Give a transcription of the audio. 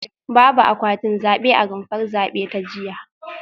Babu akwatin zabe a rumfar zabe ta jiya